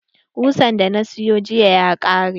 Ƙusan da na siyo jiya ya ƙare.